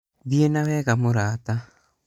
thiĩ na wega mũrata